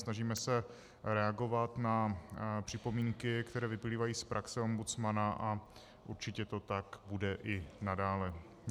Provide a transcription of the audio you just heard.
Snažíme se reagovat na připomínky, které vyplývají z praxe ombudsmana, a určitě to tak bude i nadále.